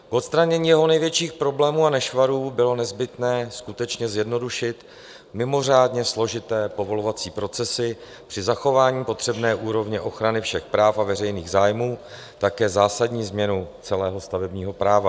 K odstranění jeho největších problémů a nešvarů bylo nezbytné skutečně zjednodušit mimořádně složité povolovací procesy při zachování potřebné úrovně ochrany všech práv a veřejných zájmů také zásadní změnou celého stavebního práva.